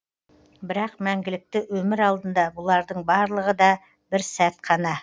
бірақ мәңгілікті өмір алдында бұлардың барлығы да бір сәт қана